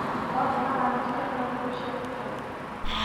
Othe mararirikana thikũ cia gĩkeno.